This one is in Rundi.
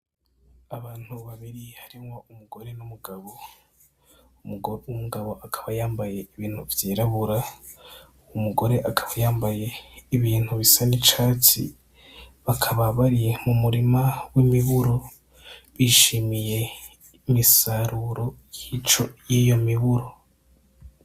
Abantu babibri harimwo umugore n'umugabo. Umugabo akaba yambaye ibintu vyirabura umugore akaba yambaye ibintu bisa nicatsi bakaba bari mu murima wimiburo bishimiye imisaruro yiyo miburo.